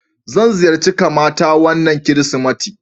Zan ziyarce kamata wana kirisimeti.